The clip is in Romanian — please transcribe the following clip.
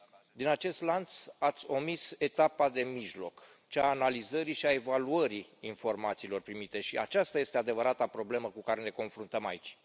Din acest lanț ați omis etapa de mijloc, cea a analizării și a evaluării informațiilor primite și aceasta este adevărata problemă cu care ne confruntăm aici.